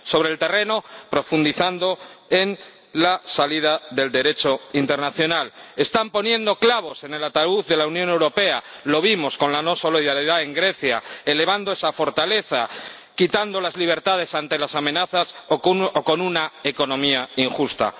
sobre el terreno, profundizando en el Derecho internacional. Están poniendo clavos en el ataúd de la Unión Europea ―lo vimos con la no solidaridad en Grecia― elevando esa fortaleza, quitando las libertades ante las amenazas, o con una economía injusta.